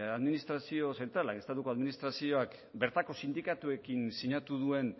administrazio zentralak estatuko administrazioak bertako sindikatuekin sinatu duen